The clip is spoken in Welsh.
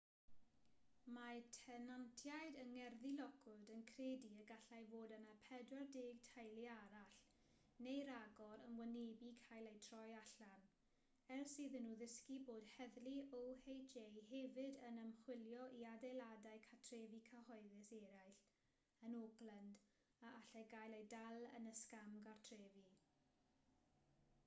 mae tenantiaid yng ngerddi lockwood yn credu y gallai fod yna 40 teulu arall neu ragor yn wynebu cael eu troi allan ers iddyn nhw ddysgu bod heddlu oha hefyd yn ymchwilio i adeiladau cartrefi cyhoeddus eraill yn oakland a allai gael eu dal yn y sgam gartrefi